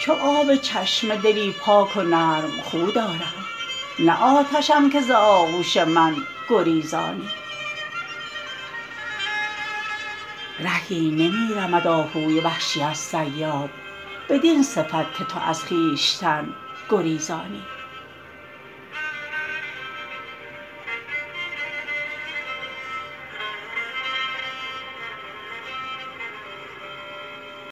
چو آب چشمه دلی پاک و نرم خو دارم نه آتشم که ز آغوش من گریزانی رهی نمی رمد آهوی وحشی از صیاد بدین صفت که تو از خویشتن گریزانی